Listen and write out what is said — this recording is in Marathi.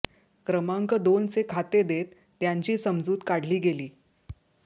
क्रमांक दोनचे खाते देत त्यांची समजूत काढली गेली